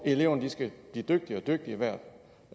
eleverne skal blive dygtigere og dygtigere